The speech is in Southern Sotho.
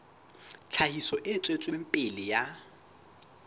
tlhahiso e tswetseng pele ya